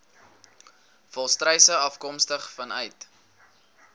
volstruise afkomstig vanuit